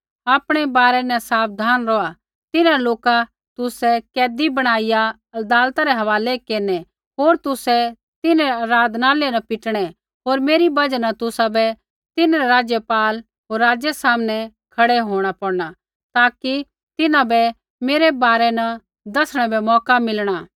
आपणै बारै न साबधान रौहा तिन्हां लोका तुसै कैदी बणाईया अदालतै रै हवालै केरनै होर तुसै तिन्हरै आराधनालय न पीटणै होर मेरी बजहा न तुसाबै तिन्हरै राज्यपाला होर राज़ै सामनै खड़ै होंणा पौड़ना ताकि तिन्हां बै मेरै बारै न दसणै बै मौका मिलणा